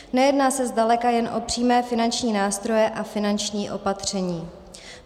Nejedná se zdaleka jen o přímé finanční nástroje a finanční opatření.